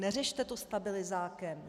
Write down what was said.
Neřešte to stabilizákem.